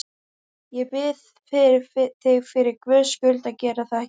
Ég bið þig fyrir Guðs skuld að gera það ekki!